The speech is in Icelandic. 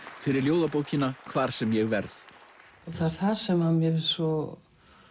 fyrir ljóðabókina hvar sem ég verð það er það sem mér finnst svo